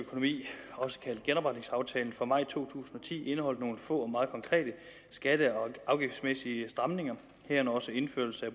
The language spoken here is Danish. økonomi også kaldet genopretningsaftalen fra maj to tusind og ti indeholdt nogle få og meget konkrete skatte og afgiftsmæssige stramninger herunder også indførelse af